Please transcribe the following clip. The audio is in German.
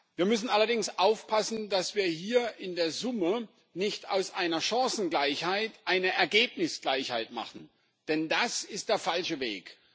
Wir müssen allerdings aufpassen, dass wir hier in der Summe nicht aus einer Chancengleichheit eine Ergebnisgleichheit machen, denn das ist der falsche Weg.